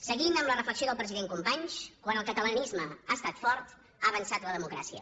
seguint amb la reflexió del president companys quan el catalanisme ha estat fort ha avançat la democràcia